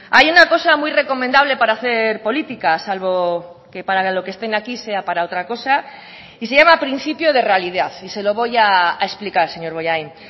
hay una cosa muy recomendable para hacer política salvo que para lo que estén aquí sea para otra cosa y se llama principio de realidad y se lo voy a explicar señor bollain